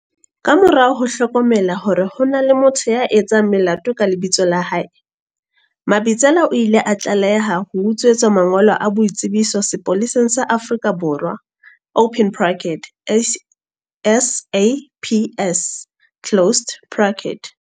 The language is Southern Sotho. Ka morao ho hlokomela hore ho na le motho ya etsang melato ka lebitso la hae, Mabitsela o ile a tlaleha ho utswetswa mangolo a boitsebiso sepoleseng sa Afrika Borwa, SAPS.